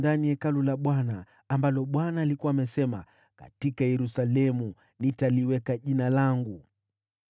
Akajenga madhabahu katika Hekalu la Bwana , ambamo Bwana alikuwa amesema, “Katika Yerusalemu nitaliweka Jina langu.”